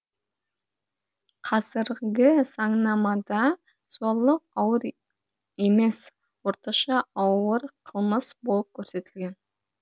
қазіргі заңнамада зорлық ауыр емес орташа ауыр қылмыс болып көрсетілген